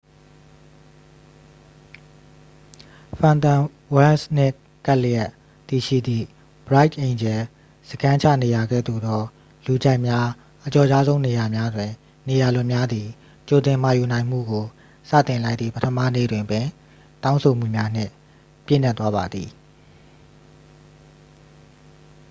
ဖန်တွန်ဝရန့်ချ် နှင့်ကပ်လျက်တည်ရှိသည့် bright angel စခန်းချနေရာကဲ့သို့သော လူကြိုက်များ အကျော်ကြားဆုံး နေရာများတွင် နေရာလွတ်များသည် ကြိုတင်မှာယူနိုင်မှုကို စတင်လိုက်သည့် ပထမနေ့တွင်ပင် တောင်းဆိုမှုများနှင့် ပြည့်နှက်သွားပါသည်